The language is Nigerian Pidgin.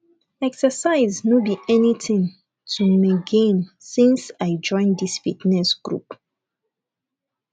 exercise no be anything to meagain since i join dis fitness group